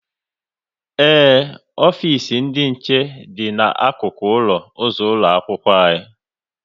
Ee, ofisi ndị nche dị n'akụkụ ụlọ ụzọ ụlọ akwụkwọ